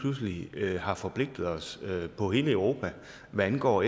pludselig har forpligtet os på hele europa hvad angår